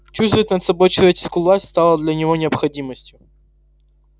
чувствовать над собой человеческую власть стало для него необходимостью